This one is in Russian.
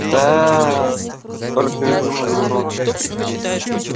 да только и вымолвил рон